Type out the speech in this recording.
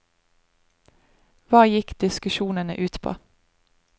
Hva gikk diskusjonene ut på?